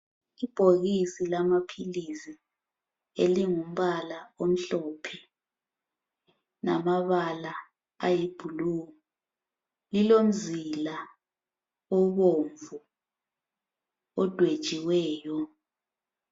Ibhokisi lamaphilisi elingumbala omhlophe lamabala ayi blue. Lilomzila obomvu odwetshiweyo.